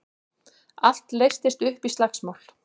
Allt leystist upp í slagsmál.